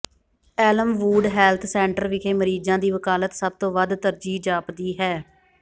Elmwood health centre ਵਿਖੇ ਮਰੀਜ਼ਾਂ ਦੀ ਵਕਾਲਤ ਸਭ ਤੋਂ ਵੱਧ ਤਰਜੀਹ ਜਾਪਦੀ ਹੈ